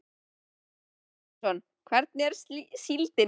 Kristján Már Unnarsson: Hvernig er síldin?